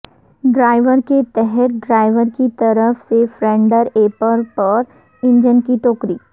driver کے تحت driver کی طرف سے فرینڈر ایپر پر انجن کی ٹوکری